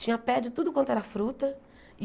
Tinha pé de tudo quanto era fruta.